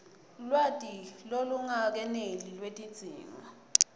lwati lolungakeneli lwetidzingo